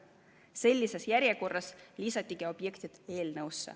Sellises järjekorras lisati objektid eelnõusse.